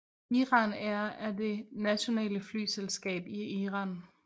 Iran Air er det nationale flyselskab i Iran